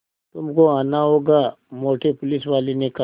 तुमको आना होगा मोटे पुलिसवाले ने कहा